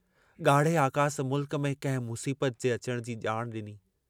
गाढ़े आकास मुल्क में कंहिं मुसीबत जे अचण जी जाण डिनी।